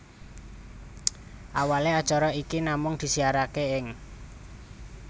Awalé acara iki namung disiaraké ing